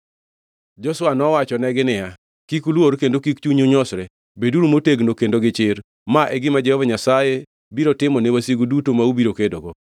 Joshua nowachonegi niya, “Kik uluor, kendo kik chunyu nyosre. Beduru motegno kendo gi chir. Ma e gima Jehova Nyasaye biro timo ne wasigu duto ma ubiro kedogo.”